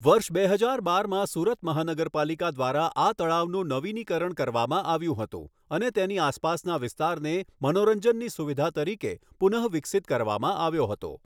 વર્ષ બે હજાર બારમાં સુરત મહાનગરપાલિકા દ્વારા આ તળાવનું નવીનીકરણ કરવામાં આવ્યું હતું અને તેની આસપાસના વિસ્તારને મનોરંજનની સુવિધા તરીકે પુનઃવિકસિત કરવામાં આવ્યો હતો.